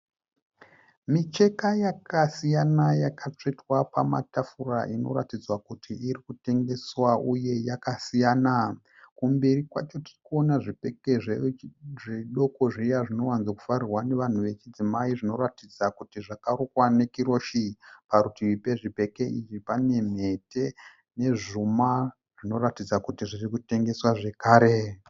Micheka yakasiyana yakatsvetwa pamatafura inoratidza kuti iri kutengeswa uye yakasiyana. Kumberi kwacho tiri kuona zvibheke zvidoko zviya zvinowanzofarirwa navanhu vechidzimai zvinoratidza kuti zvakarukwa nekiroshi. Parutivi pezvibheke izvi pane mhete nezvuma zvinoratidza kuti zviri kutengeswa zvakare.